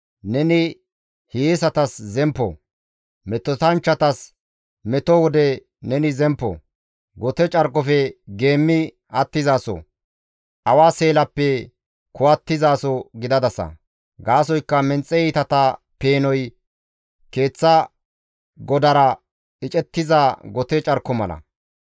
Neni hiyeesatas zemppo; Metotanchchatas meto wode neni zemppo; gote carkofe geemmi attizaso; awa seelappe kuwattizaso gidadasa. Gaasoykka menxe iitata peenoy keeththa godara icettiza gote carko mala.